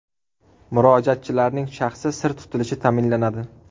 Murojaatchilarning shaxsi sir tutilishi ta’minlanadi.